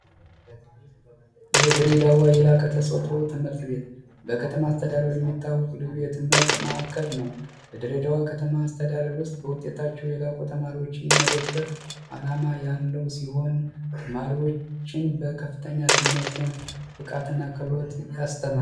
የድሬዳዋ የላከው ትምህርት ቤት በከተማ አስተዳደር የሚታወቁ ልዩ የትምህርት ማእከል ነው በድሬደዋ ከተማ አስተዳደር ውስጥ በውጤታቸው የላቁ ተማሪዎችን የመደገፍ ዓላማ ያለው ሲሆን በከፍተኛ ትምህርት አስተማሪ ነው